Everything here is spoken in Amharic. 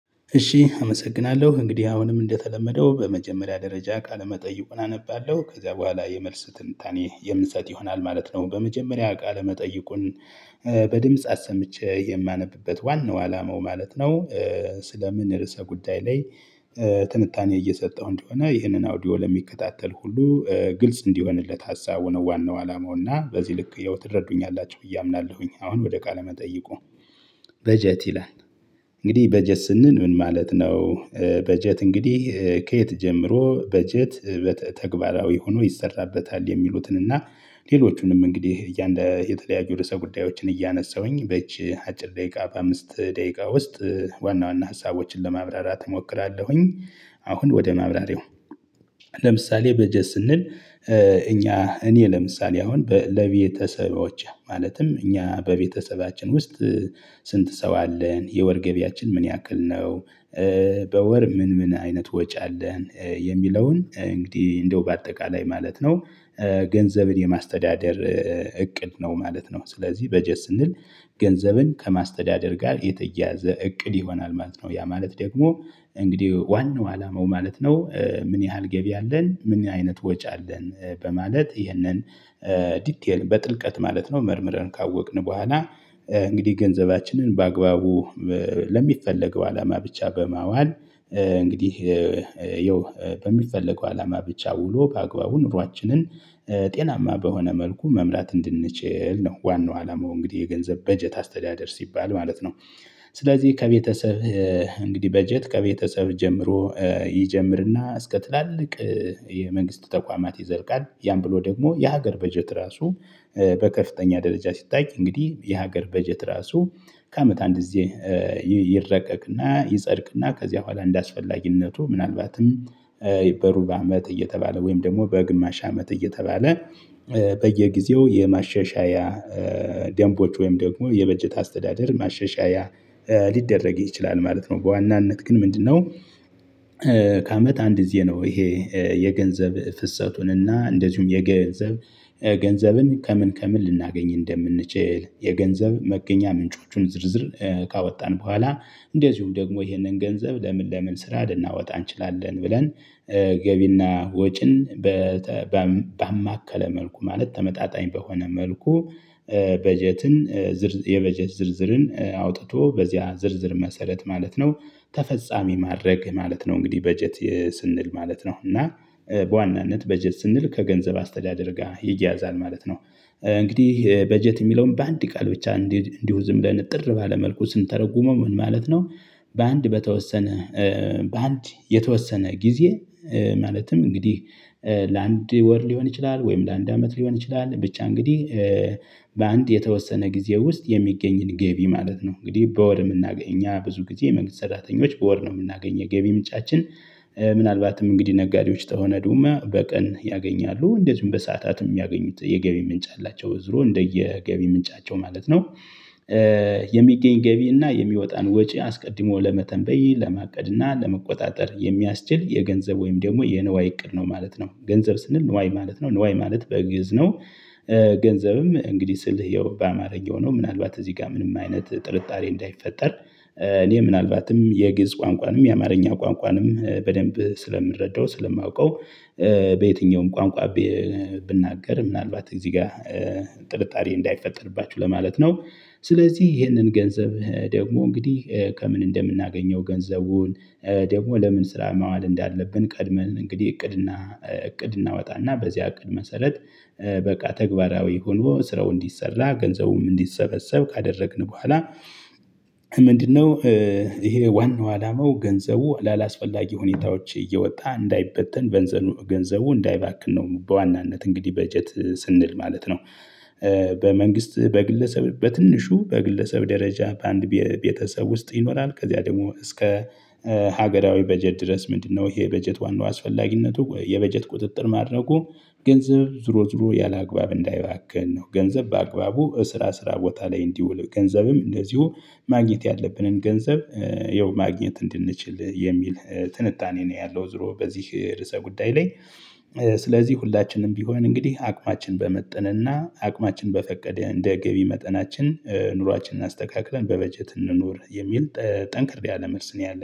እሺ አመሰግናለሁ እንግዲህ አሁንም እንደተለመደው በመጀመሪያ ደረጃ ቃለመጠይቁን አነባለሁ ከዚያ በኋላ የመልስ ትንታኔ የምሰጥ ይሆናል ማለት ነው። በመጀመሪያ ቃለ መጠይቁን በድምጽ አሰምቼ የማነብበት ዋናው አላማው ማለት ነው። ስለምን ርዕሰ ጉዳይ ላይ። ትንታኔ እየሰጠሁ እንደሆነ ይህንን አውዲዮ ለሚከታተል ሁሉ ግልጽ እንዲሆንለት ሀሳቡ ነው ዋናው አላማው እና በዚህ ልክ ያው ትረዱኛላችሁ ብየ አምናለሁኝ። አሁን ወደ ቃለ መጠይቁ። በጀት ይላል። እንግዲህ በጀት ስንል ምን ማለት ነው? በጀት እንግዲህ ከየት ጀምሮ በጀት? ተግባራዊ ሆኖ ይሰራበታል የሚሉትን እና ሌሎቹንም እንግዲህ የአንድ የተለያየ ርዕሰ ጉዳዮችን እያነሳሁኝ በእጅ አጭር ደቂቃ በአምስት ደቂቃ ውስጥ። ዋና ዋና ሀሳቦችን ለማብራራት እሞክራለሁኝ። አሁን ወደ ማብራሪያው። ለምሳሌ በጀት ስንል። እኛ እኔ ለምሳሌ አሁን ለቤተሰቦቼ ማለትም እኛ በቤተሰባችን ውስጥ። ስንት ሰው አለን የወር ገቢያችን ምን ያክል ነው? በወር ምን ምን አይነት ወጪ አለን የሚለውን እንግዲህ እንደው በአጠቃላይ ማለት ነው። ገንዘብን የማስተዳደር እቅድ ነው ማለት ነው። ስለዚህ በጀት ስንል ገንዘብን ከማስተዳደር ጋር የተያያዘ እቅድ ይሆናል ማለት ነው። ያ ማለት ደግሞ እንግዲህ ዋናው አላማው ማለት ነው ምን ያህል ገቢ አለን ምን አይነት ወጪ አለን? በማለት ይህነን። ዲቴል በጥልቀት ማለት ነው መርምረን ካወቅን በኋላ እንግዲህ ገንዘባችንን በአግባቡ ለሚፈለገው አላማ ብቻ በማዋል። እንግዲህ ይኸው በሚፈለገው አላማ ብቻ ውሎ በአግባቡ ኑሯችንን ጤናማ በሆነ መልኩ መምራት እንድንችል ነው። ዋናው አላማው እንግዲህ የገንዘብ በጀት አስተዳደር ሲባል ማለት ነው። ስለዚህ ከቤተሰብ እንግዲህ በጀት ከቤተሰብ ጀምሮ ይጀምርና እስከ ትላልቅ የመንግስት ተቋማት ይዘልቃል። ያን ብሎ ደግሞ የሀገር በጀት ራሱ በከፍተኛ ደረጃ ሲታይ እንግዲህ የሀገር በጀት ራሱ ከአመት አንድ ጊዜ። ይረቀቅና ይጸድቅና ከዚያ በኋላ እንደአስፈላጊነቱ ምናልባትም በሩብ በአመት እየተባለ ወይም ደግሞ በግማሽ አመት እየተባለ። በየጊዜው የማሻሻያ ደንቦች ወይም ደግሞ የበጀት አስተዳደር ማሻሻያ። ሊደረግ ይችላል ማለት ነው። በዋናነት ግን ምንድነው? ከአመት አንድ ጊዜ ነው። ይሄ የገንዘብ ፍሰቱንና እንደዚሁም የገንዘብ ገንዘብን ከምን ከምን ልናገኝ እንደምንችል የገንዘብ መገኛ ምንጮቹን ዝርዝር ካወጣን በኋላ እንደዚሁም ደግሞ ይህንን ገንዘብ ለምን ለምን ለምን ስራ ልናወጣ እንችላለን ብለን። ገቢና ወጪን ባማከለ መልኩ ማለት ተመጣጣኝ በሆነ መልኩ። በጀትን የበጀት ዝርዝርን አውጥቶ በዚያ ዝርዝር መሰረት ማለት ነው። ተፈጻሚ ማድረግ ማለት ነው። እንግዲህ በጀት ስንል ማለት ነው። እና በዋናነት በጀት ስንል ከገንዘብ አስተዳደር ጋር ይያዛል ማለት ነው። እንግዲህ በጀት ሚለውን በአንድ ቃል ብቻ እንዲሁ ዝም ብለን እጥር ባለ መልኩ ስንተረጉመው ምን ማለት ነው? በአንድ በተወሰነ በአንድ የተወሰነ ጊዜ። ማለትም እንግዲህ ለአንድ ወር ሊሆን ይችላል ወይም ለአንድ አመት ሊሆን ይችላል ብቻ እንግዲህ። በአንድ የተወሰነ ጊዜ ውስጥ የሚገኝን ገቢ ማለት ነው። እንግዲህ በወር ምናገኝ ብዙ ጊዜ የመንግስት ሰራተኞች በወር ነው የምናገኝ የገቢ ምንጫችን። ምናልባትም እንግዲህ ነጋዴዎች ተሆነ ዱማ በቀን ያገኛሉ እንደዚሁም በሰአታትም የሚያገኙት የገቢ ምንጭ አላቸው ዙሮ እንደየ ገቢ ምንጫቸው ማለት ነው። የሚገኝ ገቢ እና የሚወጣን ወጪ አስቀድሞ ለመተንበይ ለማቀድ እና ለመቆጣጠር የሚያስችል የገንዘብ ወይም ደግሞ የንዋይ እቅድ ነው ማለት ነው። ገንዘብ ስንል ንዋይ ማለት ነው ንዋይ ማለት በግእዝ ነው። ገንዘብም እንግዲህ ስልህ ያው በአማርኛ ሆኖ ምናልባት እዚህ ጋር ምንም አይነት ጥርጣሬ እንዳይፈጠር። እኔ ምናልባትም የግዕዝ ቋንቋንም የአማርኛ ቋንቋንም በደንብ ስለምረዳው ስለማውቀው። በየትኛውም ቋንቋ ብናገር ምናልባት እዚህ ጋ ጥርጣሬ እንዳይፈጠርባችሁ ለማለት ነው። ስለዚህ ይህንን ገንዘብ ደግሞ እንግዲህ ከምን እንደምናገኘው ገንዘቡን ደግሞ ለምን ስራ ማዋል እንዳለብን ቀድመን እንግዲህ እቅድና እቅድ እናወጣና በዚያ እቅድ መሰረት። በቃ ተግባራዊ ሆኖ ስራው እንዲሰራ ገንዘቡም እንዲሰበሰብ ካደረግን በኋላ። ምንድን ነው? ይሄ ዋናው አላማው ገንዘቡ ላላስፈላጊ ሁኔታዎች እየወጣ እንዳይበተን። ገንዘቡ እንዳይባክን ነው በዋናነት እንግዲህ በጀት ስንል ማለት ነው። በመንግስት በግለሰብ በትንሹ በግለሰብ ደረጃ በአንድ ቤተሰብ ውስጥ ይኖራል። ከዚያ ደግሞ እስከ ሀገራዊ በጀት ድረስ ምንድን ነው? ይሄ በጀት ዋናው አስፈላጊነቱ የበጀት ቁጥጥር ማድረጉ ገንዘብ ዙሮ ዙሮ ያለአግባብ እንዳይባክን ነው። ገንዘብ በአግባቡ እስራ ስራ ቦታ ላይ እንዲውል ገንዘብም እንደዚሁ ማግኘት ያለብንን ገንዘብ ያው ማግኘት እንድንችል የሚል ትንታኔ ነው ያለው። ዞሮ በዚህ ርዕሰ ጉዳይ ላይ። ስለዚህ ሁላችንም ቢሆን እንግዲህ አቅማችን በመጠነ እና አቅማችን በፈቀደ እንደ ገቢ መጠናችን ኑሯችንን አስተካክለን በበጀት እንኑር የሚል ጠንክር ያለ መልስ ነው ያለኝ